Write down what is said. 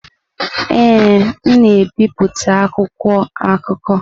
Ee, m na-ebipụta akwụkwọ akụkọ.